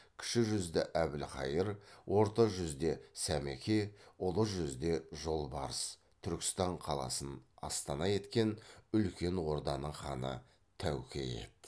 кіші жүзді әбілхайыр орта жүзде сәмеке ұлы жүзде жолбарыс түркістан қаласын астана еткен үлкен орданың ханы тәуке еді